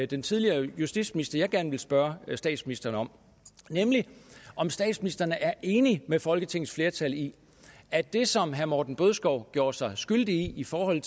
den tidligere justitsminister jeg gerne vil spørge statsministeren om nemlig om statsministeren er enig med folketingets flertal i at det som herre morten bødskov gjorde sig skyldig i i forhold